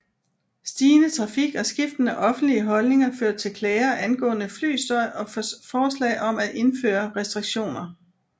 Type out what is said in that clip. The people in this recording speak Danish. Stigende trafik og skiftende offentlige holdninger førte til klager angående flystøj og forslag om at indføre restriktioner